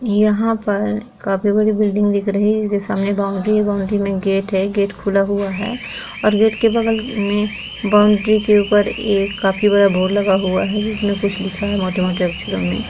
यहाँ पर काफी बड़ी बिल्डिंग दिख रही है ये सामने बाउंड्री है बाउंड्री में गेट है गेट खुला हुआ है और गेट के बगल में बाउंड्री के ऊपर ये काफी बड़ा बोर्ड लगा हुआ है जिसमें कुछ लिखा हुआ है मोठे मोठे अक्षरों में।